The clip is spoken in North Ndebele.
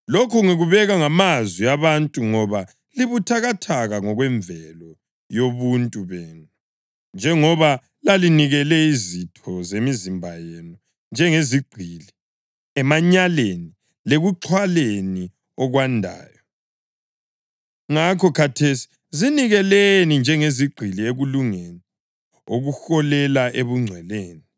Lokhu ngikubeka ngamazwi abantu ngoba libuthakathaka ngokwemvelo yobuntu benu. Njengoba lalinikela izitho zemizimba yenu njengezigqili emanyaleni lekuxhwaleni okwandayo, ngakho khathesi zinikeleni njengezigqili ekulungeni okuholela ebungcweleni.